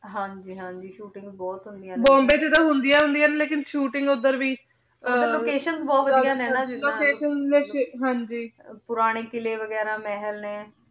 ਹਾਂਜੀ ਹਾਂਜੀ shootings ਬੋਹਤ ਹੁੰਦਿਯਾਂ ਨੇ ਬੋਮ੍ਬੇ ਚ ਤਾਂ ਹੁੰਦਿਯਾਂ ਹੁੰਦਿਯਾਂ ਲੇਕਿਨ shooting ਓਧਰ ਵੀ locations ਬੋਹਤ ਵਾਦਿਯ ਨੇ ਨਾ locations ਵੀ ਹਾਂਜੀ ਪੁਰਾਨੀ ਕਿਲੇ ਵੇਗਿਰਾ ਮੇਹਲ ਨੇ